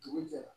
Dugu jɛra